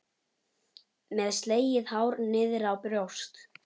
Með slegið hár niðrá brjóst.